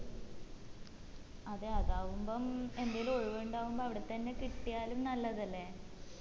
അതെ അതാവുമ്പം എന്തേലും ഒഴിവിണ്ടാവുമ്പം അവിടെ തന്നെ കിട്ടിയാലും നല്ലതല്ലേ